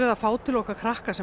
að fá til okkar krakka sem